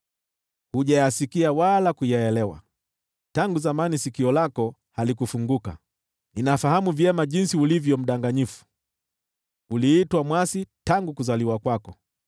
Hujayasikia wala kuyaelewa, tangu zamani sikio lako halikufunguka. Ninafahamu vyema jinsi ulivyo mdanganyifu, uliitwa mwasi tangu kuzaliwa kwako.